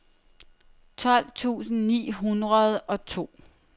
tolv tusind ni hundrede og to